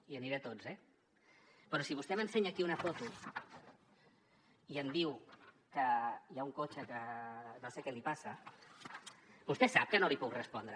hi aniré a totes eh però si vostè m’ensenya aquí una foto i em diu que hi ha un cotxe que no sé què li passa vostè sap que no li puc respondre